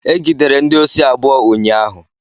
Egidere ndị osi abụọ ụnyaahụ.